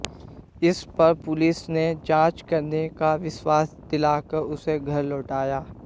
इस पर पुलिस ने जांच करने का विश्वास दिला कर उसे घर लौटाया